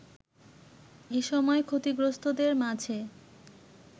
এসময় ক্ষতিগ্রস্তদের মাঝে